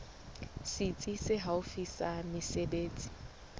setsi se haufi sa mesebetsi